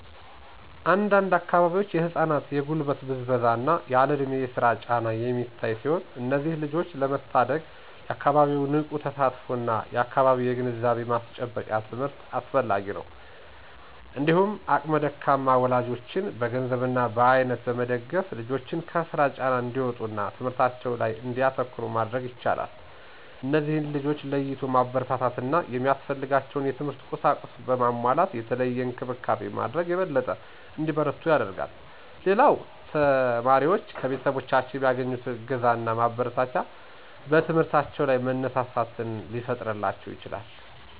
አንድ አንድ አካባቢዎች የህፃናት የጉልበት ብዝበዛ እና ያለእድሜ የስራ ጫና የሚታይ ሲሆን እነዚህን ልጆች ለመታደግ የአካባቢው ንቁ ተሳትፎ እና በየግዜው የግንዛቤ ማስጨበጫ ትምህርት አስፈላጊ ነው። እንዲሁም አቅመ ደካማ ወላጆችን በገንዘብ እና በአይነት በመደገፍ ልጆችን ከስራ ጫና እንዲወጡ እና ትምህርታቸው ላይ እንዲያተኩሩ ማድረግ ይቻላል። እነዚህን ልጆች ለይቶ ማበረታታት እና ሚያስፈልጋቸውን የትምህርት ቁሳቁስ በማሟላት የተለየ እንክብካቤ ማድረግ የበለጠ እንዲበረቱ ያደርጋል። ሌላው ተማሪዎች ከቤተሰቦቻቸው የሚያገኙት እገዛና ማበረታቻ በትምህርታቸው ላይ መነሳሳትን ሊፈጥርላቸው ይችላል።